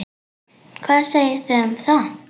Hvað segiði um það?